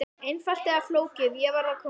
Einfalt eða flókið, ég varð að komast burt.